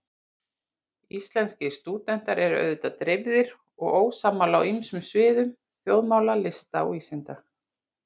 Íslenskir stúdentar eru auðvitað dreifðir og ósammála á ýmsum sviðum þjóðmála, lista og vísinda.